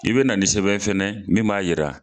I bɛ na ni sɛbɛn fɛnɛ min b'a yira.